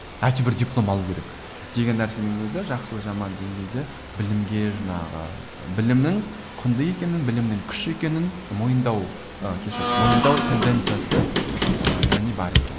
әйтеу бір диплом алу керек деген нәрсенің өзі жақсылы жаман деңгейде білімге жаңағы білімнің құнды екенін білімнің күш екенін мойындау ы кешір мойындау тенденциясы ыыы яғни бар екен